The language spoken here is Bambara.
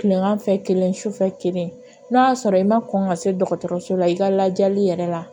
Kilegan fɛ kelen sufɛ kelen n'a y'a sɔrɔ i ma kɔn ka se dɔgɔtɔrɔso la i ka lajɛli yɛrɛ la